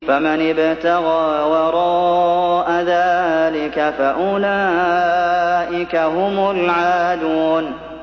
فَمَنِ ابْتَغَىٰ وَرَاءَ ذَٰلِكَ فَأُولَٰئِكَ هُمُ الْعَادُونَ